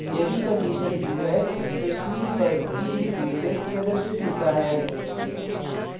यदि condition true है तो screen पर b is greatest प्रदर्शित होता है